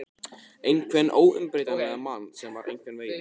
Einhvern óumbreytanlegan mann sem var einhvern veginn.